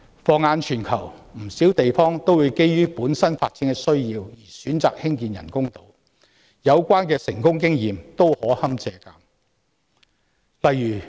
放眼全球，不少地方會基於本身發展的需要而選擇興建人工島，有關的成功經驗均可堪借鑒。